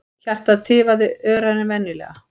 Hjartað tifar örar en venjulega.